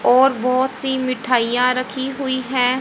और बहोत सी मिठाइयां रखी हुई हैं।